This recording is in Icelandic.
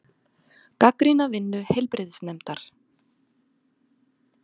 Gagnrýna vinnu heilbrigðisnefndar